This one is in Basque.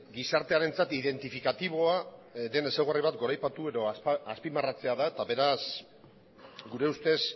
gizartearentzat identifikatiboa den ezaugarri bat goraipatu edo azpimarratzea da eta beraz gure ustez